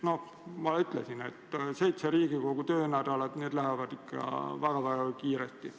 Nagu ma ütlesin, on ainult seitse Riigikogu töönädalat, mis lähevad väga-väga kiiresti.